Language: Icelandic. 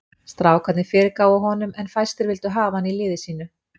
Strákarnir fyrirgáfu honum en fæstir vildu hafa hann í liði sínu.